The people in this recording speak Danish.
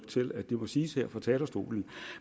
til at det må siges her fra talerstolen